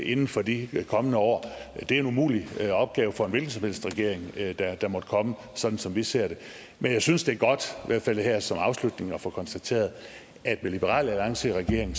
inden for de kommende år det er en umulig opgave for en hvilken som helst regering der måtte komme sådan som vi ser det men jeg synes det er godt i hvert fald her som afslutning at få konstateret at med liberal alliance i regering